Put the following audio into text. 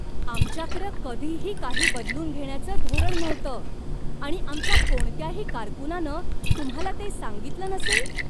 आमच्याकडं कधीही काही बदलून घेण्याचं धोरण नव्हतं आणि आमच्या कोणत्याही कारकूनानं तुम्हाला ते सांगितलं नसेल.